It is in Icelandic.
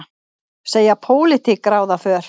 Segja pólitík ráða för